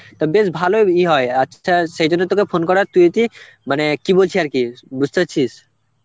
তা বেশ ভালই ভির হয়, আচ্ছা সে জন্য তোকে ফোন করা, তুই কি মানে কি বলছি আর কি, বুঝতে পারছিস?